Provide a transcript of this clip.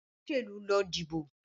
Olóṣèlú lọ dì ibo.